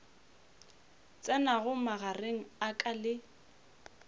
tsenago magareng a ka le